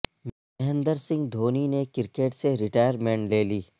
مہندر سنگھ دھونی نے کرکٹ سے ریٹائرمنٹ لے لی